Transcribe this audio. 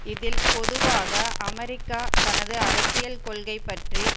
இதில் பொதுவாக அமெரிக்கா தனது அரசியல் கொள்கை பற்றி